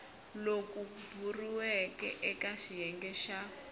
loku boxiweke eka xiyenge xa